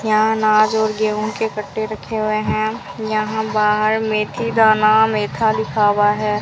यहाँ अनाज और गेहूं के कट्टे रखे हुए हैं यहां बाहर मेथी दाना मेथा लिखा हुआ है।